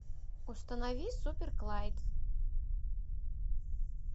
установи супер клайд